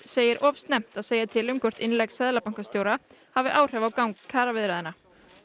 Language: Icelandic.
segir of snemmt að segja til um hvort innlegg seðlabankastjóra hafi áhrif á gang kjaraviðræðna